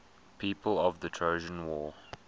people of the trojan war